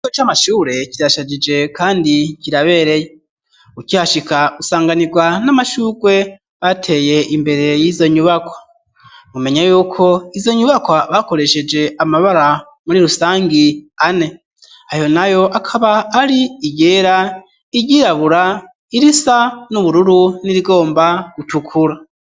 Ikigo c'amashure kirashajije kandi kirabereye, ukihashika usanganirwa n'amashurwe bateye imbere y'izo nyubakwa, mumenye yuko izo nyubakwa bakoresheje amabara muri rusangi ane, ayo nayo akaba ari iryera, iryirabura, irisa n'ubururu, n'irigomba gutukura.